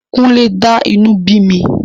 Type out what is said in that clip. Kúnlé dá inú bí mi.